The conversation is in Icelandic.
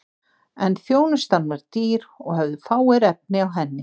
en þjónustan var dýr og höfðu fáir efni á henni